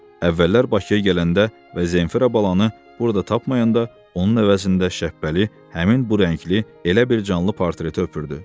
Əvvəllər Bakıya gələndə və Zenfira balanı burda tapmayanda onun əvəzində Şəhbəli həmin bu rəngli elə bir canlı portreti öpürdü.